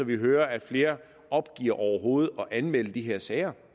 vi hører at flere opgiver overhovedet at anmelde de her sager